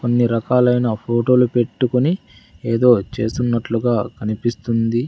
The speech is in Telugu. కొన్ని రకలైన ఫోటోలు పెట్టుకొని ఎదో చేస్తున్నట్లుగా కనిపిస్తుంది.